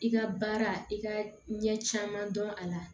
I ka baara i ka ɲɛ caman dɔn a la